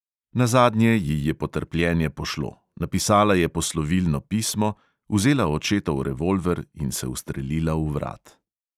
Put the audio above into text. Nazadnje ji je potrpljenje pošlo, napisala je poslovilno pismo, vzela očetov revolver in se ustrelila v vrat.